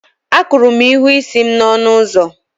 Akụrụ m ihu isi m na ọnụ ụzọ